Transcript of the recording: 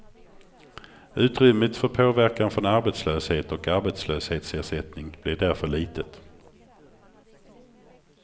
Utrymmet för påverkan från arbetslöshet och arbetslöshetsersättning blir därför litet.